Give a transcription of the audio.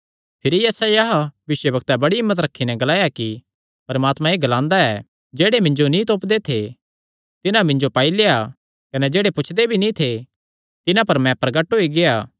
भिरी यशायाह भविष्यवक्तैं बड़ी हिम्मत रखी नैं ग्लाया कि परमात्मा एह़ ग्लांदा ऐ जेह्ड़े मिन्जो नीं तोपदे थे तिन्हां मिन्जो पाई लेआ कने जेह्ड़े पुछदे भी नीं थे तिन्हां पर मैं प्रगट होई गेआ